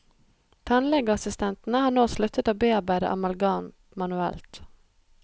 Tannlegeassistentene har nå sluttet å bearbeide amalgam manuelt.